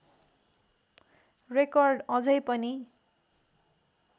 record अझै पनि